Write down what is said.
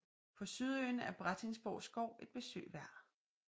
På Sydøen er Brattingsborg Skov et besøg værd